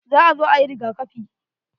Za a zo ayi rigakafi.